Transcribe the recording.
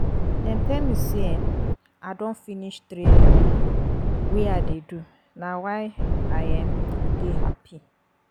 Dem tell me say um I don finish training um wey I dey do na why I um dey happy